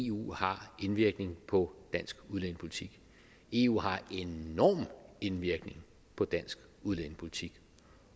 eu har indvirkning på dansk udlændingepolitik eu har enorm indvirkning på dansk udlændingepolitik